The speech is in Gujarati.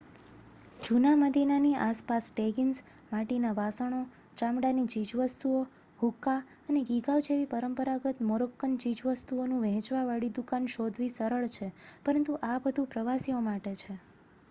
જૂના મદીનાની આસપાસ ટેગીન્સ માટીના વાસણો ચામડાની ચીજવસ્તુઓ હુક્કા અને ગીગાવ જેવી પરંપરાગત મોરોક્કન ચીજવસ્તુઓનું વહેંચવા વાળી દુકાન શોધવી સરળ છે પરંતુ આ બધુ પ્રવાસીઓ માટે છે